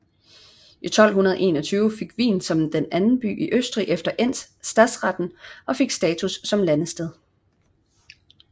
I 1221 fik Wien som den anden by i Østrig efter Enns stadsreten og fik status som ladested